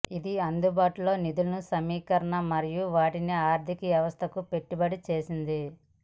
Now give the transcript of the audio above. ఇది అందుబాటులో నిధుల సమీకరణ మరియు వాటిని ఆర్థిక వ్యవస్థకు పెట్టుబడి చేసింది